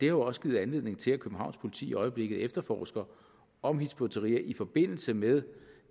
jo også givet anledning til at københavns politi i øjeblikket efterforsker om hizb ut tahrir i forbindelse med